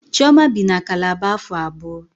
Chioma bi na Kalaba afọ abụọ